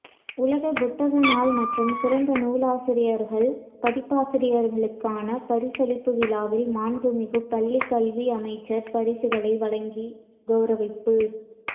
உலகப் புத்தக நாள் மற்றும் சிறந்த நூலாசிரியர்கள் பதிப்பாசிரியர்களுக்கான பரிசளிப்பு விழாவில் மாண்புமிகு பள்ளிக்கல்வி அமைச்சர் பரிசுகள் வழங்கி கௌரவிப்பு